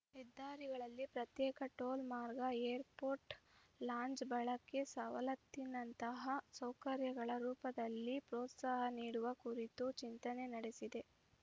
ಹೆದ್ದಾರಿಗಳಲ್ಲಿ ಪ್ರತ್ಯೇಕ ಟೋಲ್‌ ಮಾರ್ಗ ಏರ್‌ಪೋರ್ಟ್‌ ಲಾಂಜ್‌ ಬಳಕೆ ಸವಲತ್ತಿನಂತಹ ಸೌಕರ್ಯಗಳ ರೂಪದಲ್ಲಿ ಪ್ರೋತ್ಸಾಹ ನೀಡುವ ಕುರಿತು ಚಿಂತನೆ ನಡೆಸಿದೆ